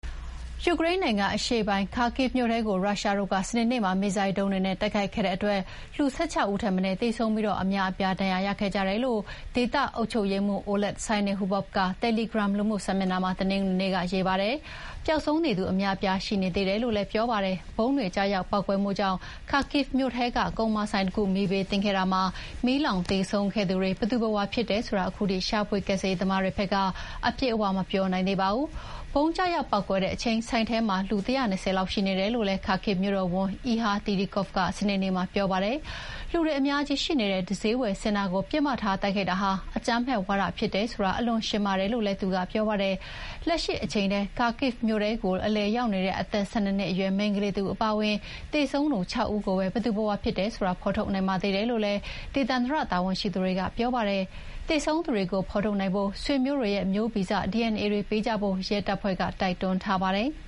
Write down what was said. ယူကရိန်းနိုင်ငံအရှေ့ပိုင်း Kharkiv မြို့ထဲကို ရုရှားတို့က စနေနေ့မှာ မစ်ဇိုင်းဒုံးတွေနဲ့ တိုက်ခိုက်ခဲ့တဲ့အတွက် လူ ၁၆ ဦးထက်မနည်းသေဆုံးပြီး အများအပြားဒဏ်ရာရခဲ့ကြတယ်လို့ ဒေသအုပ်ချုပ်ရေးမှူး Oleh Syniehubov က တယ်လီဂရမ်လူမှုစာမျက်နှာမှာ တနင်္ဂနွေနေ့က ရေးပါတယ်။ ပျောက်ဆုံးနေသူအများအပြားရှိနေသေးတယ်လို့လည်း ပြောပါတယ်။ ဗုံးတွေကျရောက်ပေါက်ကွဲမှုကြောင့် Kharkiv မြို့ထဲက ကုန်မာဆိုင်တခု မီးဘေးသင့်ခဲ့တာမှာ မီးလောင်သေဆုံးခဲ့သူတွေ ဘယ်သူဘယ်ဝါဖြစ်တယ်ဆိုတာ ခုထိ ရှာဖွေကယ်ဆယ်ရေးသမားတွေဘက်က အပြည့်အဝမပြောနိုင်သေးပါဘူး။ ဗုံးကျရောက်ပေါက်ကွဲခဲ့တဲ့အချိန် ဆိုင်ထဲမှာ လူ ၁၂၀ လောက်ရှိနေတယ်လို့လည်း Kharkiv မြို့တော်ဝန် အီဟာ တီရီကော့ဗ်က စနေနေ့မှာပြောပါတယ်။ လူတွေအများကြီးရှိတဲ့ စျေးဝယ်စင်တာကို ပစ်မှတ်ထားတိုက်ခိုက်တာဟာ အကြမ်းဖက်ဝါဒဖြစ်တယ် ဆိုတာ အလွန်ရှင်းပါတယ်လို့လည်း သူကပြောပါတယ်။ လက်ရှိအချိန်ထိ Kharkiv မြို့ကို အလည်ရောက်နေတဲ့အသက် ၁၂ နှစ်အရွယ်မိန်းကလေးတဦးအပါအဝင် သေဆုံးသူ ၆ ဦးကိုပဲ ဘယ်သူဘယ်ဝါဖြစ်တယ်ဆိုတာ ဖော်ထုတ်နိုင်ပါသေးတယ်လို့လည်း ဒေသန္တရတာဝန်ရှိသူတွေက ပြောပါတယ်။ သေဆုံးသူတွေကို ဖော်ထုတ်နိုင်ဖို့ ဆွေမျိုးတွေရဲ့မျိုးဗီဇ DNA တွေပေးကြဖို့ ရဲတပ်ဖွဲ့က တိုက်တွန်းထားပါတယ်။